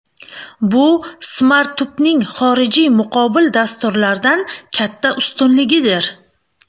Bu Smartup’ning xorijiy muqobil dasturlardan katta ustunligidir.